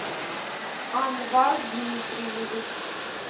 анвар дмитриевич